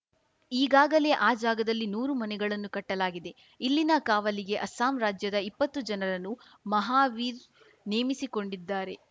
ಈಗಾಗಲೇ ಆ ಜಾಗದಲ್ಲಿ ನೂರು ಮನೆಗಳನ್ನು ಕಟ್ಟಲಾಗಿದೆ ಇಲ್ಲಿನ ಕಾವಲಿಗೆ ಅಸ್ಸಾಂ ರಾಜ್ಯದ ಇಪ್ಪತ್ತು ಜನರನ್ನು ಮಹಾವೀರ್‌ ನೇಮಿಸಿಕೊಂಡಿದ್ದಾರೆ